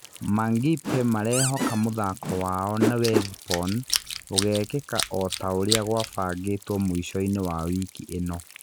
Mangipe marehoka mũthako wao na Wethibon ũgekĩka o taũrĩa gwabangĩtwo mũico-inĩ wa wiki ĩno.